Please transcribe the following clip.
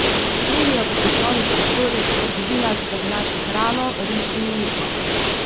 Plenijo po poslovnih prostorih, trgovinah, da bi našli hrano, riž in mleko.